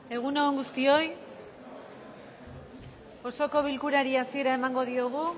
egun on guztioi osoko bilkurari hasiera emango diogu